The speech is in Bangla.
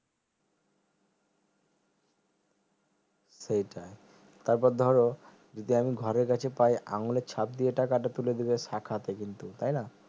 সেইটাই তারপর ধরো যদি আমি ঘরের কাছে পাই আঙুলের চাপ দিয়ে টাকাটা তুলে দেবে শাখাতে কিন্তু তাইনা